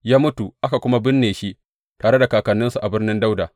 Ya mutu, aka kuma binne shi tare da kakanninsa a Birnin Dawuda.